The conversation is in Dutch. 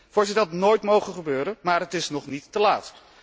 Voorzitter, het had nooit mogen gebeuren, maar het is nog niet te laat.